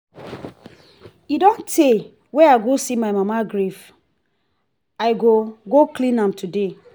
e don tey wey i go see my mama grave i go go clean am today